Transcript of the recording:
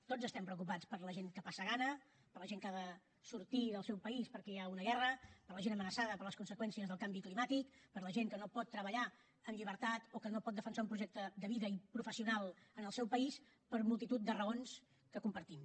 tots estem preocupats per la gent que passa gana per la gent que ha de sortir del seu país perquè hi ha una guerra per la gent amenaçada per les conseqüències del canvi climàtic per la gent que no pot treballar amb llibertat o que no pot defensar un projecte de vida i professional en els seu país per multitud de raons que compartim